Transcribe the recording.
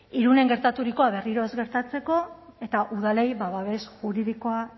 irunen gertaturikoa berriro ez gertatzeko eta udalei babes juridikoa